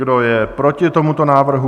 Kdo je proti tomuto návrhu?